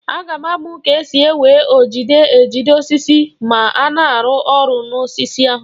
Aga m amụ ka esi ewe ojide ejide osisi ma a na-arụ ọrụ n'osisi ahụ.